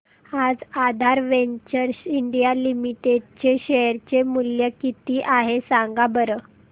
आज Aadhaar ventures India limited चे share चे मूल्य किती आहे सांगा बरं